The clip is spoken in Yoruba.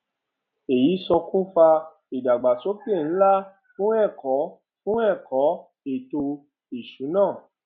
èyí ṣokùnfà ìdàgbàsókè ńlá fún ẹkọ fún ẹkọ ètò ìsúná